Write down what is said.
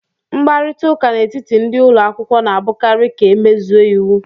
Mkparịta ụka n'etiti ndị ụlọ akwụkwọ na-abụkarị ka emezue iwu